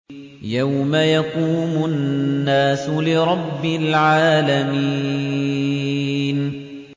يَوْمَ يَقُومُ النَّاسُ لِرَبِّ الْعَالَمِينَ